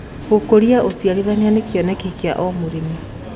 Gũkũrĩa ũcĩarĩthanĩa nĩ kĩonekĩ kĩa o mũrĩmĩ